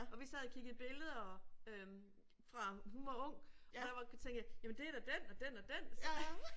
Og vi sad og kiggede billeder øh fra hun var ung og der var tænkte jeg jamen det da den og den og den der